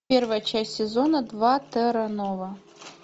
первая часть сезона два терра нова